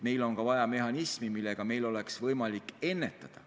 Meil on ka vaja mehhanismi, mida kasutades meil oleks võimalik kriisi ennetada.